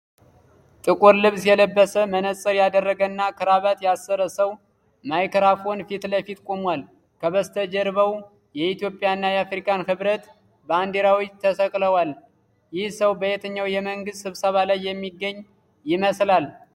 ጥቁር ልብስ የለበሰ፣ መነጽር ያደረገና ክራባት ያሰረ ሰው ማይክሮፎን ፊት ለፊት ቆሟል። ከበስተጀርባው የኢትዮጵያና የአፍሪካ ህብረት ባንዲራዎች ተሰቅለዋል። ይህ ሰው በየትኛው የመንግሥት ስብሰባ ላይ የሚገኝ ይመስላል?